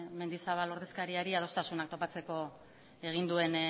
mendizabal ordezkariari adostasunak topatzeko egin duen